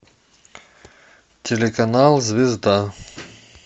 телеканал звезда